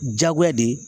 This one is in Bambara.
Diyagoya de